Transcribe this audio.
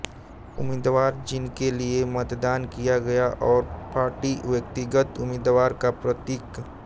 उम्मीदवार जिनके लिए मतदान किया गया है और पार्टी व्यक्तिगत उम्मीदवार का प्रतीक